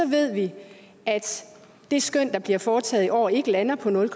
ved vi at det skøn der bliver foretaget i år ikke lander på nul